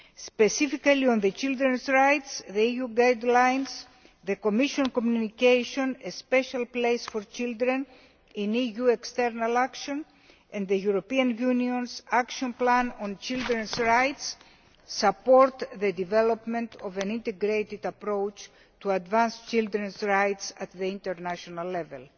Specifically in relation to children's rights and EU guidelines, the Commission communication A Special Place for Children in EU External Action' and the European Union's Action Plan on children's rights support the development of an integrated approach to advance children's rights at international level.